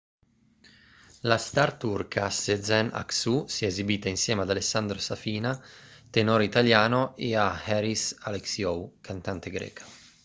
la star turca sezen aksu si è esibita insieme ad alessandro safina tenore italiano e a haris alexiou cantante greca